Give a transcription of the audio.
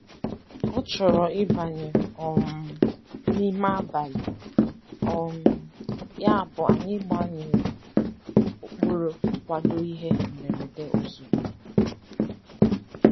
Ọ́ chọ̀rọ̀ ị́bànyé um n'ime àbàlị̀, um yàbụ̀ anyị́ gbànyèrè ụ́kpụ́rụ́ nkwàdò ìhè mberede ozùgbo.